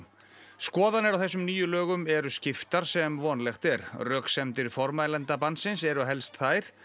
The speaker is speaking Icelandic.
skoðanir á þessum nýju lögum eru skiptar sem vonlegt er röksemdir formælenda bannsins eru helst þær